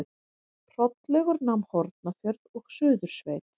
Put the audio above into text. Hrollaugur nam Hornafjörð og Suðursveit.